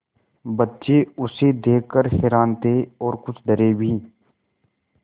बच्चे उसे देख कर हैरान थे और कुछ डरे भी